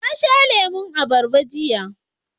Na sha lemon abarba jiya